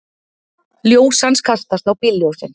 Ljós hans kastast á bílljósin.